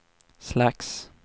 slags